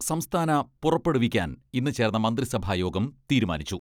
സംസ്ഥാന പുറപ്പെടുവിക്കാൻ ഇന്ന് ചേർന്ന മന്ത്രിസഭാ യോഗം തീരുമാനിച്ചു.